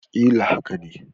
Ƙila haka ne